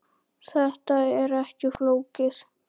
Þetta er ekki flókið